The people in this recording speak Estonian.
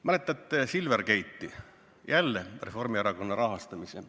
Mäletate Silvergate'i, jälle Reformierakonna rahastamisel.